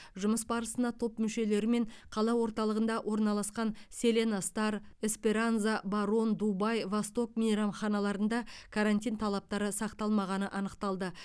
жұмыс барысына топ мүшелерімен қала орталығында орналасқан селена стар эсперанза барон дубай восток мейрамханаларында карантин талаптары сақталмағаны анықталды